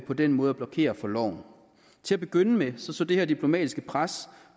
på den måde at blokere for loven til at begynde med så det her diplomatiske pres